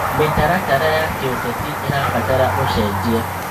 Mĩtaratara ya kĩũteti ĩrabatara ũcenjia.